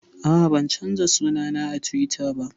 A'a, ban canza suna na a Tiwita ba